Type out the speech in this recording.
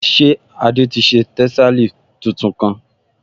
Ṣé Adé ti ṣe tẹ́sàlí tuntun kán?